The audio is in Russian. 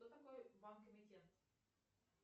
кто такой банк эмитент